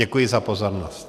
Děkuji za pozornost.